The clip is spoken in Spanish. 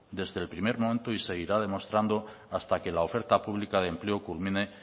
desde el primer momento y seguirá demostrando hasta que la oferta pública de empleo culmine